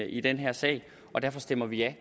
i den her sag og derfor stemmer vi ja